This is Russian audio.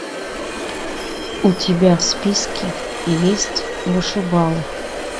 у тебя в списке есть вышибалы